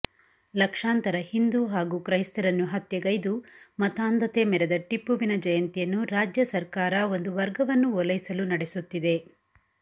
ಲಕ್ಷಾಂತರ ಹಿಂದು ಹಾಗೂ ಕ್ರೈಸ್ತರನ್ನು ಹತ್ಯೆಗೈದು ಮತಾಂಧತೆ ಮೆರೆದ ಟಿಪ್ಪುವಿನ ಜಯಂತಿಯನ್ನು ರಾಜ್ಯ ಸರ್ಕಾರ ಒಂದು ವರ್ಗವನ್ನು ಓಲೈಸಲು ನಡೆಸುತ್ತಿದೆ